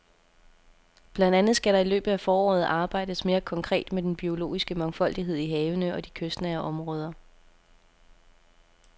Blandt andet skal der i løbet af foråret arbejdes mere konkret med den biologiske mangfoldighed i havene og i de kystnære områder.